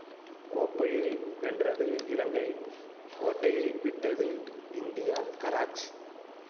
கோப்பையை வென்றது இலங்கை கோட்டையை விட்டது இந்தியா கராச்